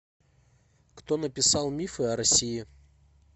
кто написал мифы о россии